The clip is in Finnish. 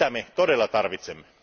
Sitä me todella tarvitsemme.